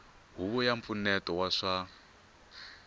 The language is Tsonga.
huvo ya mpfuneto wa swa